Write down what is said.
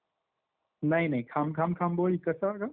नाही नाही खांब खांब खांबोळी कसं ग? माहिती नाही.